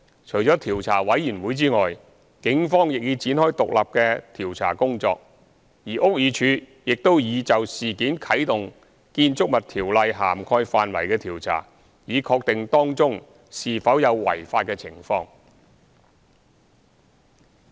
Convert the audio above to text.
除調查委員會外，警方亦已展開獨立的調查工作，而屋宇署亦已就事件啟動《建築物條例》涵蓋範圍的調查，以確定當中是否有違法的情況。